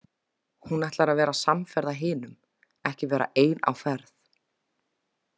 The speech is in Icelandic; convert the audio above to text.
Hún ætlar að vera samferða hinum, ekki vera ein á ferð.